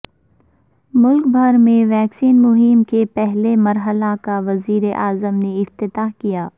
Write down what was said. ملک بھر میں ویکسین مہم کے پہلے مرحلہ کا وزیر اعظم نے افتتاح کیا